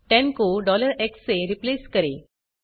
10 को x से replace करें